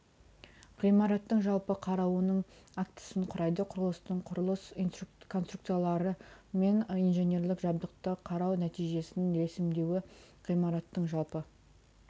ғимараттың жалпы қарауының актісін құрайды құрылыстың құрылыс конструкциялары мен инженерлік жабдықты қарау нәтижесін ресімдеуі ғимараттың жалпы